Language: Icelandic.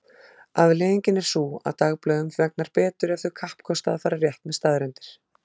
Afleiðingin er sú að dagblöðum vegnar betur ef þau kappkosta að fara rétt með staðreyndir.